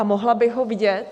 A mohla bych ho vidět?